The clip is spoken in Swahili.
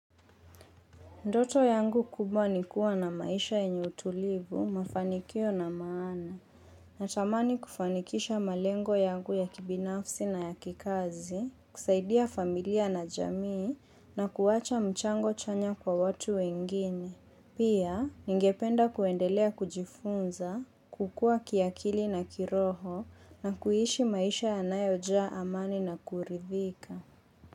Ndoto yangu kubwa nikuwa na maisha yenye utulivu, mafanikio na maana. Natamani kufanikisha malengo yangu ya kibinafsi na ya kikazi, kusaidia familia na jamii na kuwacha mchango chanya kwa watu wengine. Pia, ningependa kuendelea kujifunza, kukua kiakili na kiroho na kuishi maisha ya nayojaa amani na kuridhika.